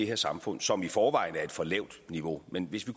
her samfund som i forvejen er et for lavt niveau men hvis vi